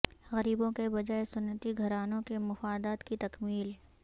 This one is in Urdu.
غریبوں کے بجائے صنعتی گھرانوں کے مفادات کی تکمیل